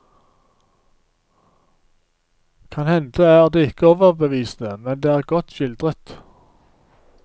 Kan hende er det ikke overbevisende, men det er godt skildret.